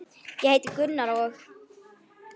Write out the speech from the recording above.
Ég heiti Gunnar og.